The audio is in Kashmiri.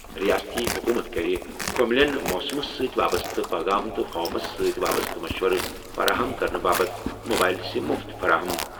رِیٲستی حکوٗمت کَرِ كمِلین موسمَس سۭتۍ وابسطہٕ پٲغام تہٕ فارمَس سۭتۍ وابسطہٕ مشورٕ فراہم کرنہٕ باپتھ موبایِل سِم مُفت فراہم۔